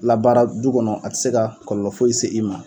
Labaara du kɔnɔ a te se ka kɔlɔlɔ foyi se i ma